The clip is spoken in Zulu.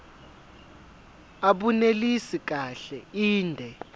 abunelisi kahle inde